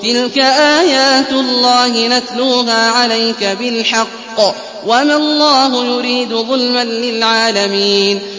تِلْكَ آيَاتُ اللَّهِ نَتْلُوهَا عَلَيْكَ بِالْحَقِّ ۗ وَمَا اللَّهُ يُرِيدُ ظُلْمًا لِّلْعَالَمِينَ